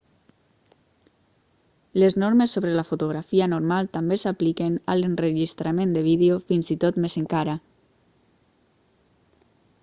les normes sobre la fotografia normal també s'apliquen a l'enregistrament de vídeo fins i tot més encara